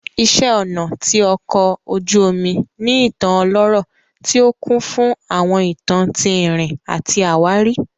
Iṣẹ́ ọnà ti ọkò ojú omu ní ìtàn ọlọ́rọ̀ tí ó kún fún àwọn ìtàn tí ìrìn àti àwárí